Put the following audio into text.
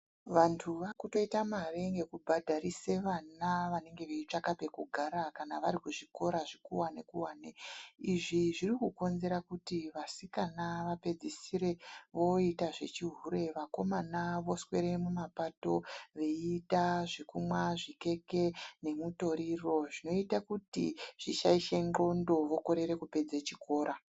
Vantu vaakutoita mare ngekubhadharise vana vanenge veitsvaka pekugara kana vari kuzvikora zvikuwani-kuwani. Izvi zviri kukonzera kuti vasikana vapedzisire voita zvechihure, vakomana voswere mumapato veiita, zvekumwa zvikeke, nemutoriro, zvinoita kuti zvishaishe ndxondo vokorere kupedze chikora.